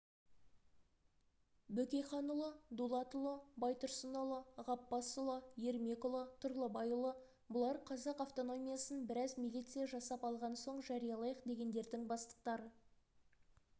бөкейханұлы дулатұлы байтұрсынұлы ғаппасұлы ермекұлы тұрлыбайұлы бұлар қазақ автономиясын біраз милиция жасап алған соң жариялайық дегендердің бастықтары